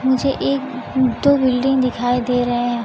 मुझे एक दो बिल्डिंग दिखाई दे रहे है।